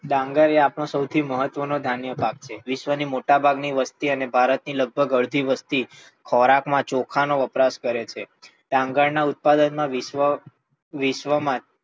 ડાંગર એઆપણો મહત્વ નો ધાન્ય પાક છે. વિશ્વ ની મોટા ભાગની વસ્તી અને ભારત ની લગભગ અડધી વસ્તી ખોરાક માં ચોખા નો વપરાશ કરે છે. ડાંગર ના ઉત્પાદન માં વિશ્વ, વિશ્વ માં,